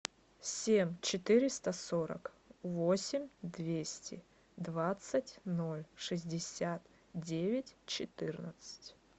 семь четыреста сорок восемь двести двадцать ноль шестьдесят девять четырнадцать